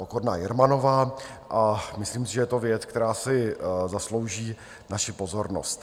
Pokorná Jermanová a myslím si, že je to věc, která si zaslouží naši pozornost.